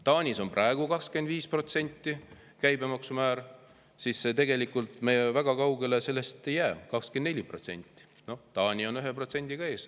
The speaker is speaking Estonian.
Taanis on praegu käibemaksumäär 25% ja tegelikult me väga kaugele siis sellest ei jää, meil on 24%, Taani on ühe protsendiga ees.